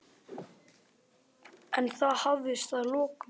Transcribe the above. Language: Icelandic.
En það hafðist að lokum.